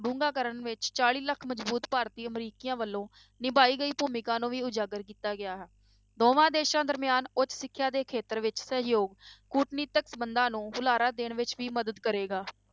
ਡੂੰਘਾ ਕਰਨ ਵਿੱਚ ਚਾਲੀ ਲੱਖ ਮਜ਼ਬੂਤ ਭਾਰਤੀ ਅਮਰੀਕੀਆਂ ਵੱਲੋਂ ਨਿਭਾਈ ਗਈ ਭੂਮਿਕਾ ਨੂੰ ਵੀ ਉਜਾਗਰ ਕੀਤਾ ਗਿਆ ਹੈ, ਦੋਵਾਂ ਦੇਸਾਂ ਦਰਮਿਆਨ ਉੱਚ ਸਿੱਖਿਆ ਦੇ ਖੇਤਰ ਵਿੱਚ ਸਹਿਯੋਗ, ਕੂਟਨੀਤਿਕ ਸੰਬੰਧਾਂ ਨੂੰ ਹੁਲਾਰਾ ਦੇਣ ਵਿੱਚ ਵੀ ਮਦਦ ਕਰੇਗਾ।